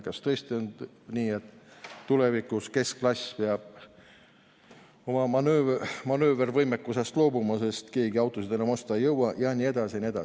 Kas tõesti on nii, et tulevikus keskklass peab oma manöövervõimekusest loobuma, sest keegi autot enam osta ei jõua jne?